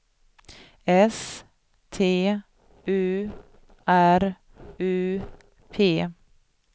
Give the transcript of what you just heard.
S T U R U P